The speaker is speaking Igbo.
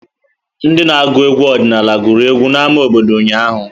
Ndị na agụ egwu ọdịnala gụrụ egwu n'ámá obodo ụnyahụ.